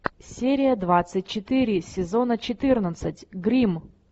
серия двадцать четыре сезона четырнадцать гримм